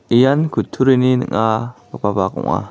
ian kutturini ning·agipa bak ong·a.